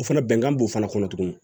O fana bɛnkan b'o fana kɔnɔ tugun